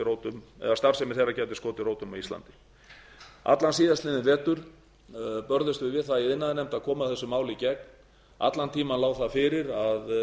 rótum á íslandi allan síðastliðinn vetur börðumst við við það í iðnaðarnefnd að koma þessu máli í gegn allan tímann lá það fyrir að